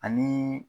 Ani